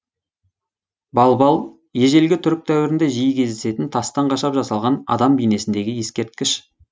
балбал ежелгі түрік дәуірінде жиі кездесетін тастан қашап жасалған адам бейнесіндегі ескерткіш